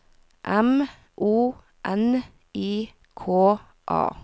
M O N I K A